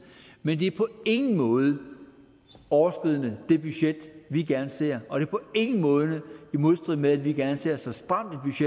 men det er på ingen måde overskridende det budget vi gerne ser og det er på ingen måde i modstrid med at vi gerne ser så stramt